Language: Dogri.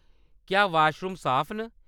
क्या वाशरूम साफ न?